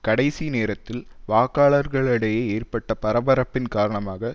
கடைசி நேரத்தில் வாக்காளர்களிடையே ஏற்பட்ட பரபரப்பின் காரணமாக